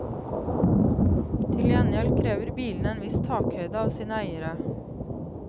Til gjengjeld krever bilene en viss takhøyde av sine eiere.